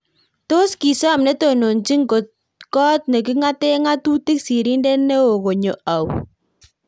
Tos kisom netononchini kot nekingate ngatutik sirndet neo konyo au?